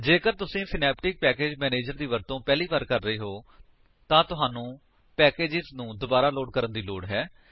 ਜੇਕਰ ਤੁਸੀ Synaptic package manager ਦੀ ਵਰਤੋ ਪਹਿਲੀ ਵਾਰ ਕਰ ਰਹੇ ਹੋ ਤਾਂ ਤੁਹਾਨੂੰ ਪੈਕੇਜਸ ਨੂੰ ਦੁਬਾਰਾ ਲੋਡ ਕਰਨ ਦੀ ਲੋੜ ਹੈ